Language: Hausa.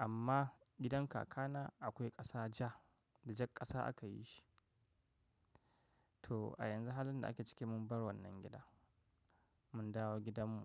Amma gidan kakana akwai ƙasa ja da jak ƙasa aka yi shi. To a yanzu halin da ake ciki mun bar wannan gida, mun dawo gidanmu.